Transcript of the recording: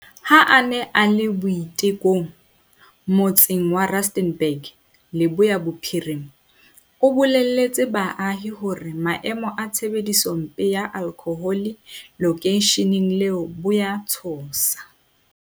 Ha a ne a le Boitekong, motse ng wa Rustenburg, Leboya Bophirima, o boleletse baahi hore maemo a tshebedisompe ya alkhohole lokeisheneng leo bo a tshosa.